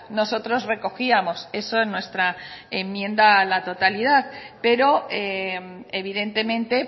nosotros recogíamos eso en nuestra enmienda a la totalidad pero evidentemente